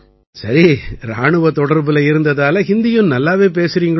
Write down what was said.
சரி இராணுவத் தொடர்புல இருந்ததால ஹிந்தியும் நல்லாவே பேசறீங்களோ